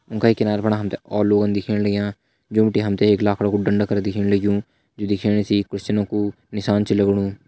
उं का ही किनारा फणा हम तें और लोगन दिखेण लग्यां जो बिटि हम तें एक लाखड़ा कू डंडा कर दिखेण लग्युं जु दिखेण सी क्रिस्टियन कु निशान च लगणू।